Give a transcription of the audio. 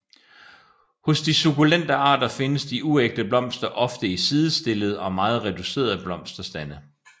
Hos de sukkulente arter findes de uægte blomster oftest i sidestillede og meget reducerede blomsterstande